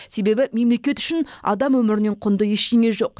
себебі мемлекет үшін адам өмірінен құнды ештеңе жоқ